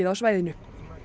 á svæðinu